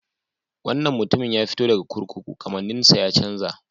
Wannan mutumin ya fito daga kurkuku, kamanninsa ya chanza.